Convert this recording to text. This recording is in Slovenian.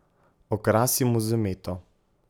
Okrasimo z meto.